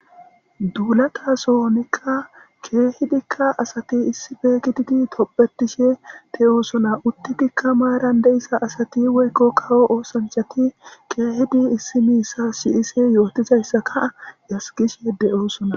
Dulatasonika kehidikka asati issipe gididi tobetishe de'osona utidika maran de'iza asati woyiko kawo osonichito issoyi isuwa si'ishe deyosona